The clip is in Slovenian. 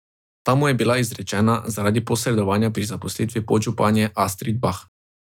Ta mu je bila izrečena zaradi posredovanja pri zaposlitvi podžupanje Astrid Bah.